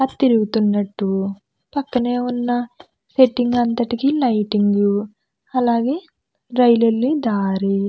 అవి తిరుగుతునట్టు పక్కన ఉన్నసెట్టింగ్ అంతటికీ లైటింగ్ . అలాగే రైలు ఏళ్ళే దారి --